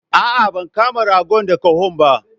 A'a ban kama ragon da koho ba?